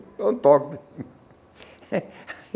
Então toque.